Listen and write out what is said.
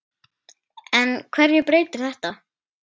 En hverju breytir þetta?